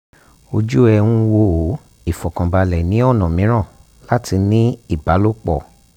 ojú ẹ̀ ń wò ó ìfọ̀kànbalẹ̀ ni ọ̀nà mìíràn láti ní ìbálòpọ̀